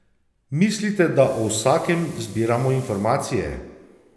Mislite, da o vsakem zbiramo informacije?